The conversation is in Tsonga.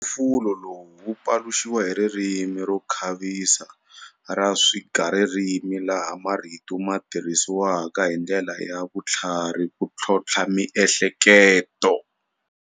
Mphofulo lowu wu paluxiwa hi ririmi ro khavisa ra swigaririmi laha marito ma tirhisiwaka hi ndlela ya vutlharhi ku tlhontlha miehleketo.